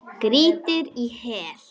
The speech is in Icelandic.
Grýttir í hel.